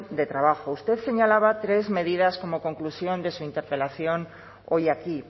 de trabajo usted señalaba tres medidas como conclusión de su interpelación hoy aquí